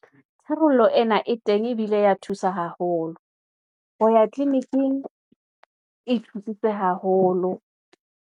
Tharollo ena e teng ebile ya thusa haholo, ho ya tliliniking e thusitse haholo.